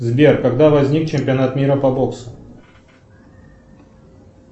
сбер когда возник чемпионат мира по боксу